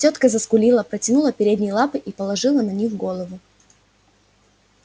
тётка заскулила протянула передние лапы и положила на них голову